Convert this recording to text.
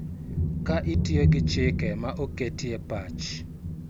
Ka itiyo gi chike ma oketie pach